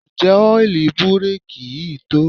Ǹjẹ́ ọ́ìlì búréèkì yìí tó?